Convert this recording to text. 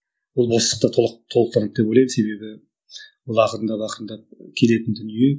ол бостықты толықтырды деп ойлаймын себебі ол ақырындап ақырындап келетін дүние